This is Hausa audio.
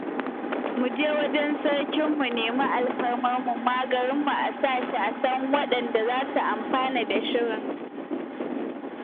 Mu je wajen sarki mu nemi alfarma mu ma garinmu a sa shi sahun waɗanda za su amfana da shirin